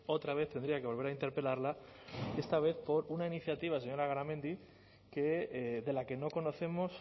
otra vez tendría que volver a interpelarla esta vez por una iniciativa señora garamendi de la que no conocemos